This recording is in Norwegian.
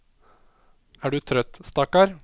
Er du trøtt, stakkar?